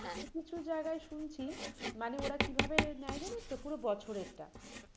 কিছু কিছু জায়গায় শুনছি মানে ওরা কিভাবে নেয় জানিস তো? পুরো বছরের টা মানে